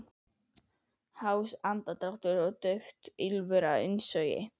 Hás andardráttur og dauft ýlfur á innsogi.